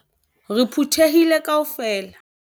Re phuthehile kaofela.